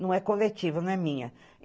Não é coletiva, não é minha.